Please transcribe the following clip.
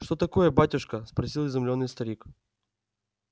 что такое батюшка спросил изумлённый старик